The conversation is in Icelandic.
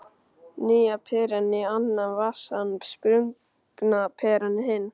Nýja peran í annan vasann, sprungna peran í hinn.